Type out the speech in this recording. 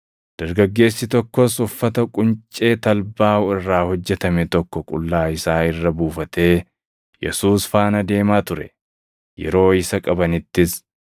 Dargaggeessi tokkos uffata quncee talbaa irraa hojjetame tokko qullaa isaa irra buufatee Yesuus faana deemaa ture. Yeroo isa qabanittis,